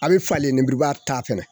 A bɛ falen lenmuruba ta fɛnɛ